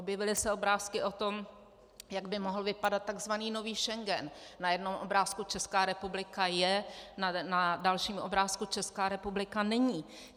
Objevily se obrázky o tom, jak by mohl vypadat tzv. nový Schengen - na jednom obrázku Česká republika je, na dalším obrázku Česká republika není.